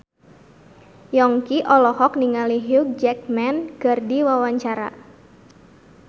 Yongki olohok ningali Hugh Jackman keur diwawancara